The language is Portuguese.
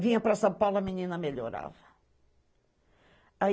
Vinha para São Paulo, a menina melhorava.